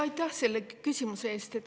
Aitäh selle küsimuse eest!